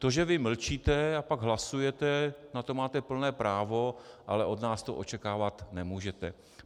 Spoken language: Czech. To, že vy mlčíte a pak hlasujete, na to máte plné právo, ale od nás to očekávat nemůžete.